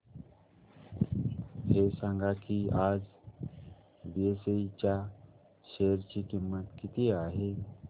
हे सांगा की आज बीएसई च्या शेअर ची किंमत किती आहे